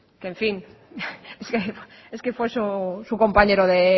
que en fin es que fue su compañero de